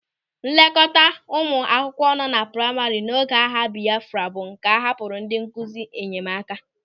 Nlekọta ụmụ akwụkwọ nọ na praima n'oge agha Bịafra bụ nke a hapụrụ ndị nkụzi nyemaka.